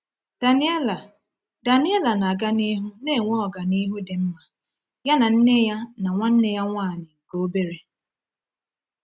Daniela Daniela na-aga n’ihu na-enwe ọganihu dị mma, ya na nne ya na nwanne ya nwanyị nke obere.